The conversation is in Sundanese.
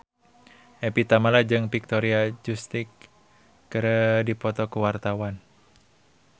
Evie Tamala jeung Victoria Justice keur dipoto ku wartawan